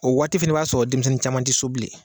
O waati fɛnɛ b'a sɔrɔ denmisɛnnin caman ti so bilen.